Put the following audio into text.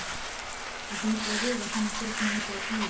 Það hlýtur að vera þegar maður sér svona mikið af bílum.